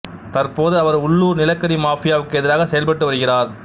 தற்போது அவர் உள்ளூர் நிலக்கரி மாஃபியாவுக்கு எதிராக செயல்பட்டு வருகிறார்